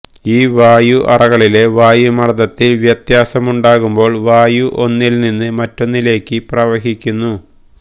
ഈ വായു അറകളിലെ വായുമർദ്ദത്തിൽ വ്യത്യാസമുണ്ടാകുമ്പോൾ വായു ഒന്നിൽനിന്ന് മറ്റൊന്നിലേക്ക് പ്രവഹിക്കുന്നു